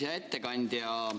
Hea ettekandja!